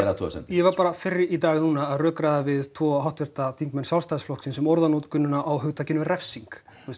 athugasemd við ég var bara fyrr í dag að rökræða við tvo háttvirta þingmenn Sjálfstæðisflokksins um orðanotkunina á hugtakinu refsing